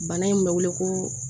Bana in bɛ wele ko